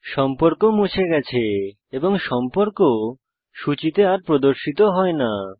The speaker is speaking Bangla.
সম্পর্ক মুছে গেছে এবং সম্পর্ক সূচীতে আর প্রদর্শিত হয় না